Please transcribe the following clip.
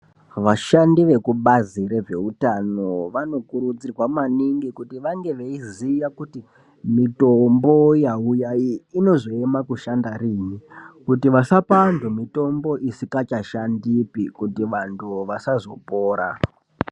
Vashandi vekubazi rezveutano vanokurudzirwa maningi kuti vange veiziya kuti mitombo yauya iyi inozoema pakushanda riini kuitira kuti vasapa antu mitombo isikachashandipi kuti vantu vasazopora.